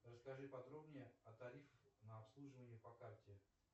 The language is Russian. расскажи подробнее о тарифах на обслуживание по карте